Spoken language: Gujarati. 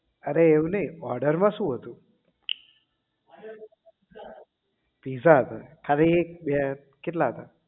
અરે એવું નહીં order માં શું હતું pizza હતો અરે એક બે કેટલા હતા